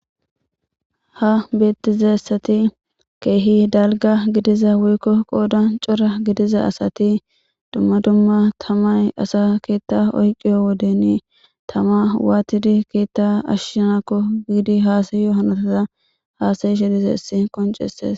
Ha beettizessati keehi dalga gidiza wuykko qooda cora gidiza asati dumma dumma tamay asa keetta oyqiyo wodeni tama waatidi keetta ashshinakko biidi haasayyo hanatara haasayi shidizessi qonceses